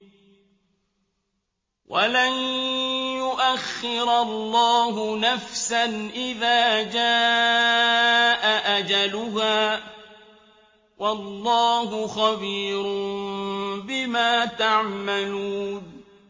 وَلَن يُؤَخِّرَ اللَّهُ نَفْسًا إِذَا جَاءَ أَجَلُهَا ۚ وَاللَّهُ خَبِيرٌ بِمَا تَعْمَلُونَ